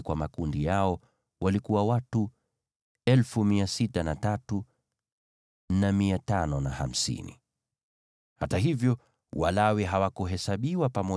Hata hivyo, Walawi hawakuhesabiwa pamoja na Waisraeli wengine, kama Bwana alivyomwagiza Mose.